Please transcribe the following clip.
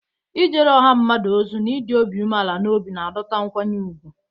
Ijere ọha mmadụ ozi na ịdị umeala n'obi na-adọta nkwanye ùgwù.